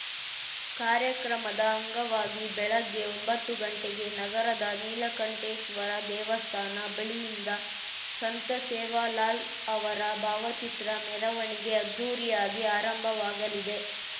ಕಾರ್ಯಕ್ರಮದ ಅಂಗವಾಗಿ ಬೆಳಗ್ಗೆ ಒಂಬತ್ತು ಗಂಟೆಗೆ ನಗರದ ನೀಲಕಂಠೇಶ್ವರ ದೇವಸ್ಥಾನ ಬಳಿಯಿಂದ ಸಂತ ಸೇವಾಲಾಲ್‌ಅವರ ಭಾವಚಿತ್ರ ಮೆರವಣಿಗೆ ಅದ್ಧೂರಿಯಾಗಿ ಆರಂಭವಾಗಲಿದೆ